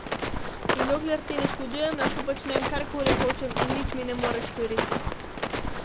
In dokler ti ne škodujem, lahko počnem kar koli hočem, in nič mi ne moreš storiti.